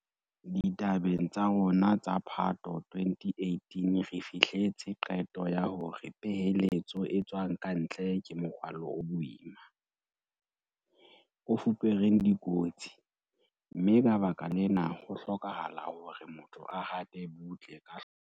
Ditabeng tsa rona tsa Phato 2018 re fihletse qeto ya hore peheletso e tswang ka ntle ke morwalo o boima, o fupereng dikotsi, mme ka baka lena ho hlokahala hore motho a hate butle ka hloko.